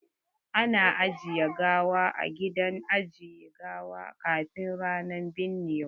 Ana ajiyan gawa a gidan ajiye gawa kafin ranan binnewa.